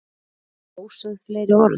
Voru þá ósögð fleiri orð.